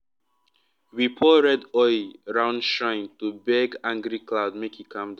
we pour red oil round shrine to beg angry cloud make e calm down.